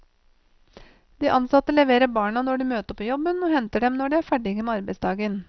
De ansatte leverer barna når de møter på jobben, og henter dem når de er ferdige med arbeidsdagen.